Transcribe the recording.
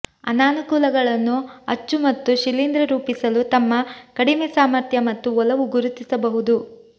ಅನಾನುಕೂಲಗಳನ್ನು ಅಚ್ಚು ಮತ್ತು ಶಿಲೀಂಧ್ರ ರೂಪಿಸಲು ತಮ್ಮ ಕಡಿಮೆ ಸಾಮರ್ಥ್ಯ ಮತ್ತು ಒಲವು ಗುರುತಿಸಬಹುದು